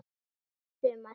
Það var gott sumar.